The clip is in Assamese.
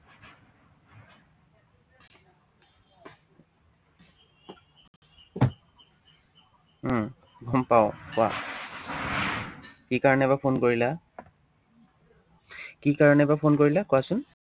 উম গম পাওঁ, কোৱা। কি কাৰনে বা phone কৰিলা? কি কাৰনে বা phone কৰিলা কোৱাচোন।